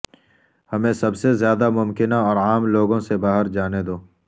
ہمیں سب سے زیادہ ممکنہ اور عام لوگوں سے باہر جانے دو